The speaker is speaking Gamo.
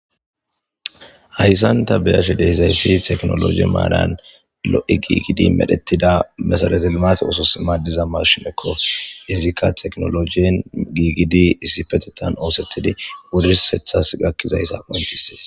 Haysan ta be7ashe de7izasi tekinoloje malan lo7i gigidi medhetida meserete limate oosos madiza mashineko. izika tekinolojen gigidi isipetethan osetidi wursethas gakidaysa beses.